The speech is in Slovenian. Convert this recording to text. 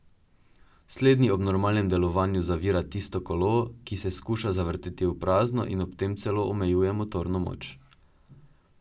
Slednji ob normalnem delovanju zavira tisto kolo, ki se skuša zavrteti v prazno in ob tem celo omejuje motorno moč.